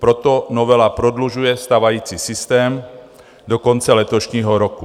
Proto novela prodlužuje stávající systém do konce letošního roku.